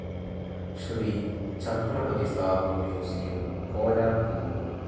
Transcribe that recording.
Shri Chhatrapati Shahu museum, Kolhapur